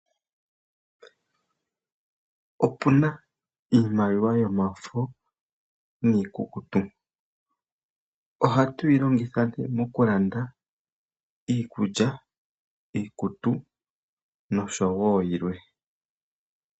Opuna iimaliwa yomafo niikukutu ohatu yi longitha nee okulanda iikutu, iikulya nosho woo yilwe.